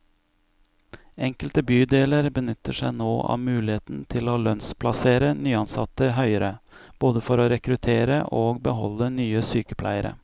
Enkelte bydeler benytter seg nå av muligheten til å lønnsplassere nyansatte høyere, både for å rekruttere og beholde nye sykepleiere.